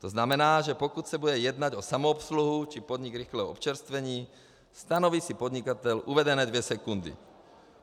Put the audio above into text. To znamená, že pokud se bude jednat o samoobsluhu či podnik rychlého občerstvení, stanoví si podnikatel uvedené dvě sekundy.